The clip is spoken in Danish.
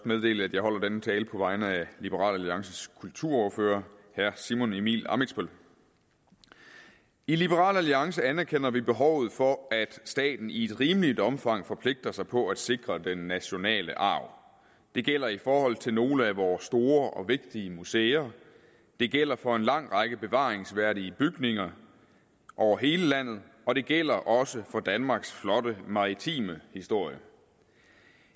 meddele at jeg holder denne tale på vegne af liberal alliances kulturordfører herre simon emil ammitzbøll i liberal alliance anerkender vi behovet for at staten i et rimeligt omfang forpligter sig på at sikre den nationale arv det gælder i forhold til nogle af vores store og vigtige museer det gælder for en lang række bevaringsværdige bygninger over hele landet og det gælder også for danmarks flotte maritime historie